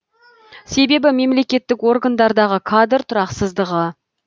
себебі мемлекеттік органдардағы кадр тұрақсыздығы